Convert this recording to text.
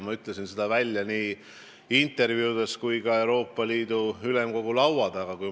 Ma ütlesin selle välja nii intervjuudes kui ka Euroopa Ülemkogu laua taga.